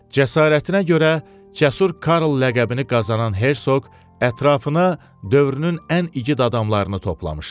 Cəsarətinə görə Cəsur Karl ləqəbini qazanan hersoq ətrafına dövrünün ən igid adamlarını toplamışdı.